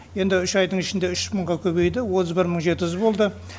енді үш айдың ішінде үш мыңға көбейді отыз бір мың жеті жүз болды